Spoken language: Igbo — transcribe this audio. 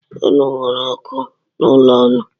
Unu nwere ọkụ n’ụlọ ụnụ